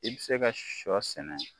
I bɛ se ka sɔ sɛnɛ